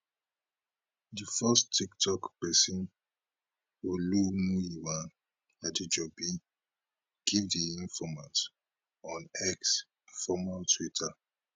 di force tiktok pesin olumuyiwa adejobi give di informate on x former twitter